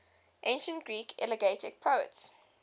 ancient greek elegiac poets